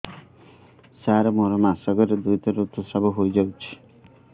ସାର ମୋର ମାସକରେ ଦୁଇଥର ଋତୁସ୍ରାବ ହୋଇଯାଉଛି